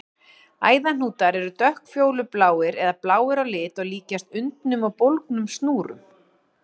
Æðahnútar eru dökkfjólubláir eða bláir á lit og líkjast undnum og bólgnum snúrum.